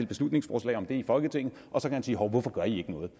beslutningsforslag om det i folketinget og så kan han sige hov hvorfor gør i ikke noget